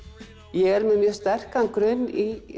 ég er með sterkan grunn í